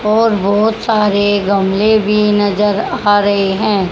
और बहोत सारे गमले भी नजर आ रहे हैं।